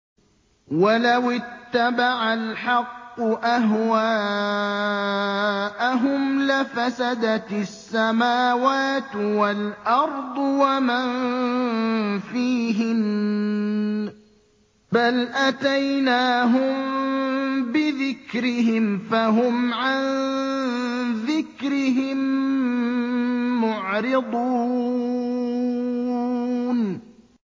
وَلَوِ اتَّبَعَ الْحَقُّ أَهْوَاءَهُمْ لَفَسَدَتِ السَّمَاوَاتُ وَالْأَرْضُ وَمَن فِيهِنَّ ۚ بَلْ أَتَيْنَاهُم بِذِكْرِهِمْ فَهُمْ عَن ذِكْرِهِم مُّعْرِضُونَ